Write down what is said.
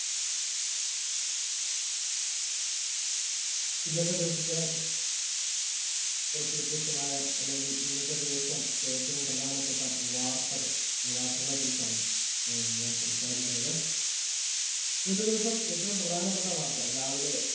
ഇന്നത്തെ ദിവസത്തെ കുറച് വ്യത്യസ്തമായ അല്ലെങ്കിൽ ഇന്നത്തെ ദിവസം ഏറ്റവും പ്രധാനപ്പെട്ട വാർത്തകൾ ആ വാർത്തകളെ കുറിച്ചാണ് എ ഞാൻ സംസാരിക്കുന്നത് ഇന്നത്തെ ദിവസം ഏറ്റവും പ്രധാനപ്പെട്ട വാർത്ത രാവിലെ